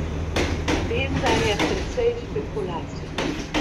Vem, da je precej špekulacij.